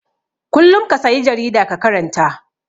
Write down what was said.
Kullum ka sayi jarida ka karanta.